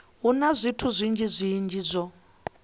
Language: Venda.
hu na zwithu zwinzhi zwo